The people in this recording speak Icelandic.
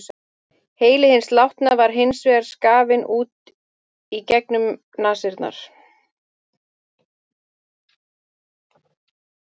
Heili hins látna var hins vegar skafinn út í gegnum nasirnar.